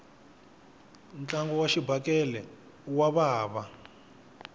ntlangu wa xibakele wa vava